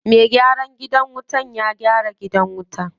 Me gyaran wutan ya gyara gidan wutan.